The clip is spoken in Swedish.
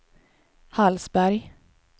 Hallsberg